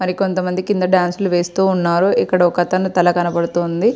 మరి కొంత మంది కింద డాన్సులు వేస్తూ ఉన్నారు ఇక్కడ ఒకతను తల కనబడుతుంది.